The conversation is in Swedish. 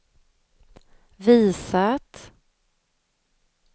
visat